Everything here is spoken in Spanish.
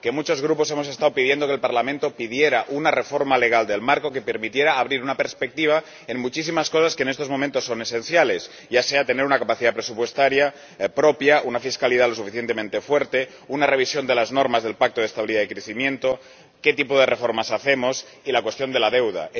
Muchos grupos hemos estado pidiendo que el Parlamento pidiera una reforma legal del Marco que permitiera abrir una perspectiva en muchísimas cosas que, en estos momentos, son esenciales, ya sea tener una capacidad presupuestaria propia, una fiscalidad lo suficientemente fuerte, una revisión de las normas del Pacto de Estabilidad y Crecimiento, qué tipo de reformas hacemos y la cuestión de la deuda.